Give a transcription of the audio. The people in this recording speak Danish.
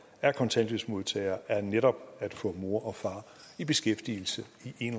af kontanthjælpsmodtagere er netop at få mor og far i beskæftigelse